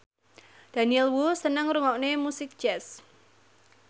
Daniel Wu seneng ngrungokne musik jazz